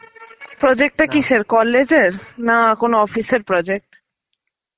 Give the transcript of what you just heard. project টা কিসের? college এর? না কোনো office এর project?